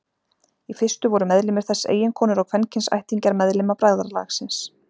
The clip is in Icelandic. Í fyrstu voru meðlimir þess eiginkonur og kvenkyns ættingjar meðlima bræðralagsins.